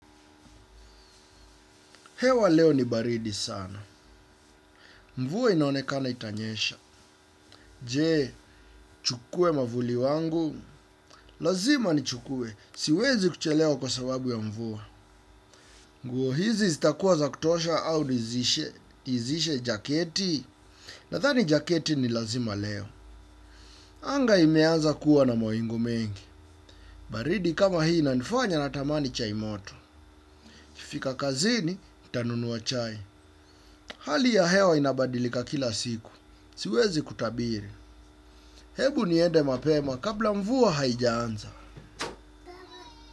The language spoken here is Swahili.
Hewa leo ni baridi sana. Mvua inaonekana itanyesha. Je, nichukue mwavuli wangu. Lazima ni chukue. Siwezi kuchelewa kwa sababu ya mvua. Nguo hizi zitakuwa za kutosha au nizishe jaketi. Nadhani jaketi ni lazima leo. Anga imeanza kuwa na mawingu mengi. Baridi kama hii inanifanya natamani chai moto. Nikifika kazini, ntanunuwa chai. Hali ya hewa inabadilika kila siku. Siwezi kutabiri. Hebu niende mapema kabla mvua haijaanza.